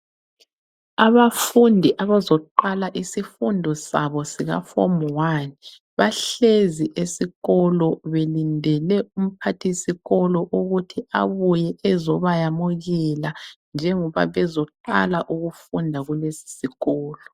Abafundi abazoqala isifundo sabo sika Form 1, bahlezi esikolo belindele umphathisikolo ukuthi abuye ezobayamukela njengoba bezoqala ukufunda kulesisikolo.